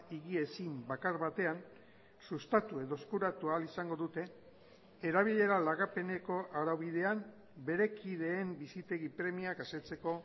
higiezin bakar batean sustatu edo eskuratu ahal izango dute erabilera lagapeneko araubidean bere kideen bizitegi premiak asetzeko